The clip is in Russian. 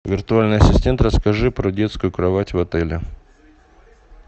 виртуальный ассистент расскажи про детскую кровать в отеле